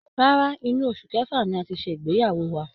Rárá, inú oṣù kẹfà ni a ti ṣe ìgbeyàwó wa